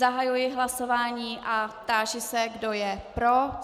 Zahajuji hlasování a táži se, kdo je pro.